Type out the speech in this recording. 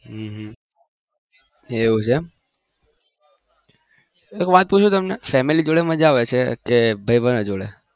હમ એવું છે એમ એક વાત પુછુ તમને family જોડે મજા આવે છે કે બાઈબધ જોડે